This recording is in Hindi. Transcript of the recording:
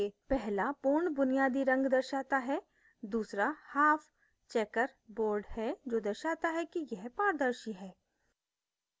पहला pure बुनियादी रंग दर्शाता है दूसरा half checker board है जो दर्शाता है कि यह पारदर्शी है